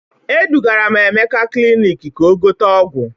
Edugara m Emeka klinik ka o gote ọgwụ.